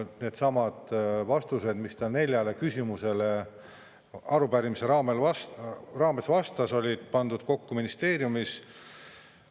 Needsamad vastused, mis ta neljale küsimusele arupärimise raames vastas, olid pandud kokku ministeeriumis.